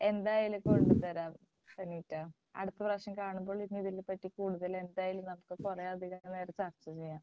എന്തായാലും കൊണ്ടുത്തരാം സനീറ്റ അടുത്ത പ്രാവശ്യം കാണുമ്പോൾ ഇതിനെ പറ്റി കൂടുതൽ എന്തായാലും നമുക്ക് കുറേയധികം നേരം ചർച്ച ചെയ്യണം.